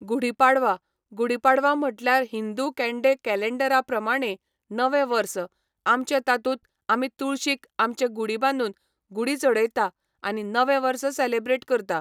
गुढीपाडवां गुढीपाडवा म्हटल्यार हिंदू केंडें केलेंडरा प्रमाणें नवें वर्स आमचे तातूंत आमी तुळशीक आमचे गुढी बादूंन गुढी चडयता आनी नवें वर्स सेलेब्रेट करता.